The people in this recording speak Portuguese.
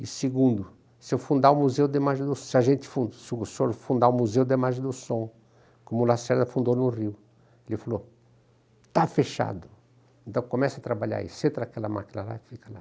E segundo, se eu fundar o Museu da Imagem do se a gente fun, se o senhor fundar o Museu da Imagem do Som, como o Lacerda fundou no Rio, ele falou, ''está fechado, então comece a trabalhar aí, senta naquela máquina lá e fica lá''.